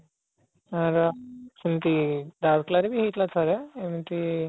ୟାର ସେମିତି ରାଉରକେଲା ରେ ବି ହେଇଥିଲା ଥରେ ଏମିତି